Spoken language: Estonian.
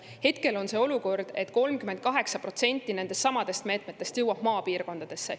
Hetkel on selline olukord, et 38% nendestsamadest meetmetest jõuab maapiirkondadesse.